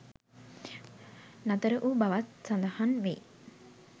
නතර වූ බවත් සඳහන් වේ.